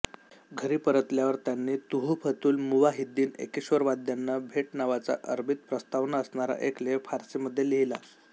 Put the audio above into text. घरी परतल्यावर त्यांनी तुहफतूल मुवाहीद्दीन एकेश्ववरवाद्यांना भेट नावाचा अरबीत प्रस्तावना असणारा एक लेख फारसीमधे लिहिला